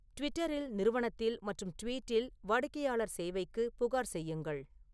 ட்விட்டரில் நிறுவனத்தில் மற்றும் ட்வீட்டில் வாடிக்கையாளர் சேவைக்கு புகார் செய்யுங்கள்